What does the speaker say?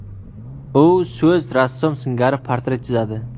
U so‘z rassom singari portret chizadi.